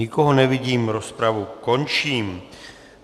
Nikoho nevidím, rozpravu končím.